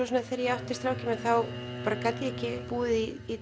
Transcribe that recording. svo þegar ég átti strákinn minn þá gat ég ekki búið í